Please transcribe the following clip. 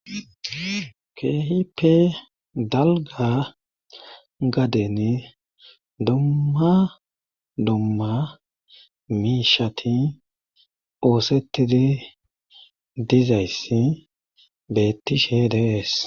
Keehipe dalga gaden dumma dumma miishati oosetidi dizayssi bettishe dees.